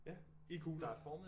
Ja i kugler